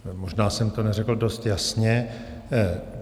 Možná jsem to neřekl dost jasně.